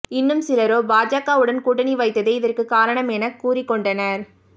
இன்னும் சிலரோ பாஜகவுடன் கூட்டணி வைத்ததே இதற்கு காரணம் என கூறிக் கொண்டனர்